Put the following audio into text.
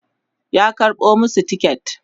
ya karɓo masu tiket